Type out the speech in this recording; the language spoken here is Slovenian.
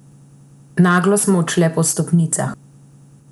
Naglo smo odšle po stopnicah.